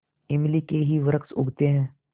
इमली के ही वृक्ष उगते हैं